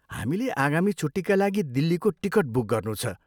हामीले आगामी छुट्टीका लागि दिल्लीको टिकट बुक गर्नु छ।